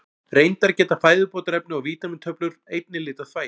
Reyndar geta fæðubótarefni og vítamíntöflur einnig litað þvagið.